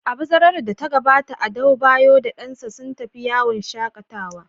A bazarar da ta gabata, Adebayor da dansa sun tafi yawon shaƙatawa.